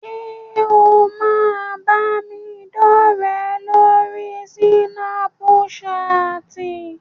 Ṣé o máa bámidọ́rẹ̀ẹ́ lórí súnápúṣaàtì?